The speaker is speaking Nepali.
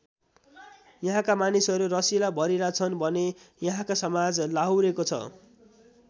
यहाँका मानिसहरू रसिला भरिला छन् भने यहाँको समाज लाहुरेको छ ।